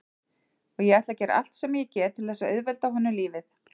Og ég ætla að gera allt sem ég get til þess að auðvelda honum lífið.